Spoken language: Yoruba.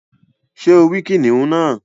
Sé o rí kìnìún náà